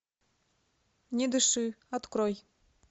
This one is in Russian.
не дыши открой